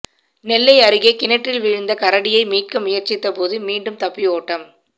நெல்லை அருகே கிணற்றில் விழுந்த கரடியை மீட்க முயற்சித்த போது மீண்டும் தப்பி ஓட்டம்